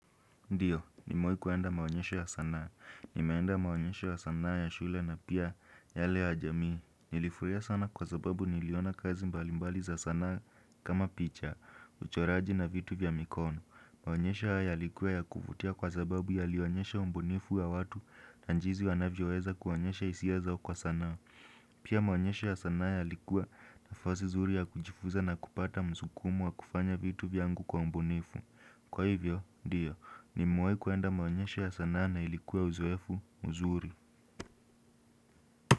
Ndio, nimewai kuenda maonyesho ya sanaa. Nimeenda maonyesho ya sanaa ya shule na pia yale ya jamii. Nilifuria sana kwa zababu niliona kazi mbalimbali za sanaa kama picha, uchoraji na vitu vya mikono. Maonyesho hayo yalikuwa ya kuvutia kwa zababu yalionyesha umbunifu wa watu na njizi wanavyoweza kuonyesha hisiazao kwa sanaa. Pia maonyesho ya sanaa yalikuwa na fasi zuri ya kujifuza na kupata msukumo wa kufanya vitu vyangu kwa umbunifu. Kwa hivyo, ndio, ni mewai kuenda maonyesho ya sanaa na ilikua uzoefu, mzuri.